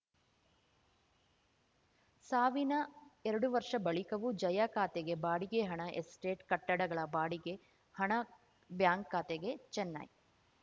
ಸಾವಿನ ಎರಡು ವರ್ಷ ಬಳಿಕವೂ ಜಯಾ ಖಾತೆಗೆ ಬಾಡಿಗೆ ಹಣ ಎಸ್ಟೇಟ್‌ ಕಟ್ಟಡಗಳ ಬಾಡಿಗೆ ಹಣ ಬ್ಯಾಂಕ್‌ ಖಾತೆಗೆ ಚೆನ್ನೈ